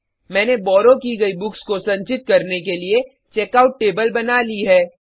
मैंने बॉरो की गयी बुक्स को संचित करने के लिए चेकआउट टेबल बना ली है